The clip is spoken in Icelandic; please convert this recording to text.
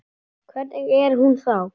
En hvernig er hún þá?